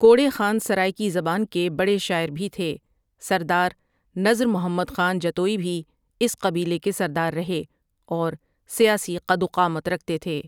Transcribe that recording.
کوڑے خان سرائیکی زبان کے بڑے شاعر بھی تھے سردار نذر محمد خاں جتوئی بھی اس قبیلے کے سردار رہے اور سیاسی قدوقامت رکھتے تھے ۔